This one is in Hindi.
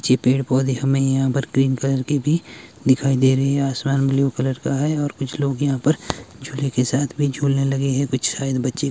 छे पेड़ पौधे हमें यहां पर ग्रीन कलर के भी दिखाई दे रही है आसमान ब्लू कलर का है और कुछ लोग यहां पर झूले के साथ भी झूलने लगे हैं कुछ शायद बच्चे --